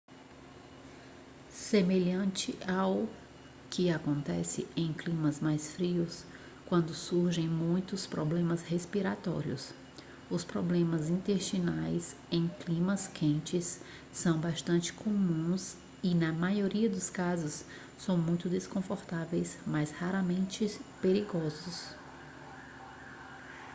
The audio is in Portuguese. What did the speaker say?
semelhante ao que acontece em climas mais frios quando surgem muitos problemas respiratórios os problemas intestinais em climas quentes são bastante comuns e na maioria dos casos são muito desconfortáveis mas raramente perigosos